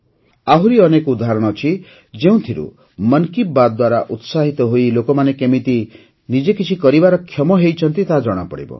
ଆହୁରି ଅନେକ ଉଦାହରଣ ଅଛି ଯେଉଁଥିରୁ ମନ୍ କି ବାତ୍ ଦ୍ୱାରା ଉତ୍ସାହିତ ହୋଇ ଲୋକମାନେ କେମିତି ନିଜେ କିଛି କରିବାରେ କ୍ଷମ ହୋଇଛନ୍ତି ତାହା ଜଣାପଡ଼ିବ